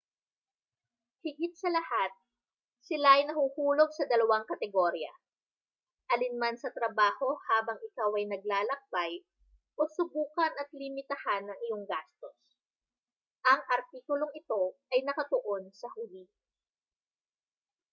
higit sa lahat sila ay nahuhulog sa dalawang kategorya alinman sa trabaho habang ikaw ay naglalakbay o subukan at limitahan ang iyong gastos ang artikulong ito ay nakatuon sa huli